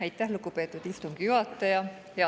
Aitäh, lugupeetud istungi juhataja!